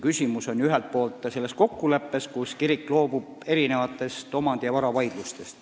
Küsimus on ju ühelt poolt selles kokkuleppes, millega kirik loobub omandi- ja varavaidlustest.